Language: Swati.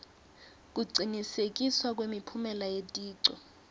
kucinisekiswa kwemiphumela yeticu